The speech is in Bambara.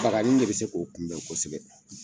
Bakani de bi se k'o kunbɛn kosɛbɛ.